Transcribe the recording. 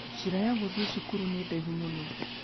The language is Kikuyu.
Njĩra ya gũthiĩ cukuru nĩ ndaihu mũno.